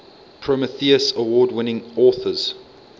prometheus award winning authors